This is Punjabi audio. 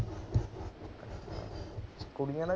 ਕੁੜੀਆਂ ਦਾ